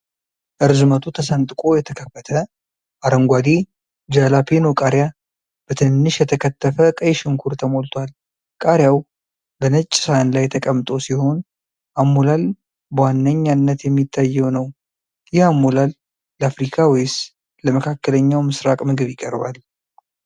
ርዝመቱ ተሰንጥቆ የተከፈተ አረንጓዴ ጃላፔኖ ቃሪያ በትንንሽ የተከተፈ ቀይ ሽንኩርት ተሞልቷል። ቃሪያው በነጭ ሰሃን ላይ ተቀምጦ ሲሆን፣ አሞላል በዋነኝነት የሚታየው ነው። ይህ አሞላል ለአፍሪካ ወይስ ለመካከለኛው ምስራቅ ምግብ ይቀርባል?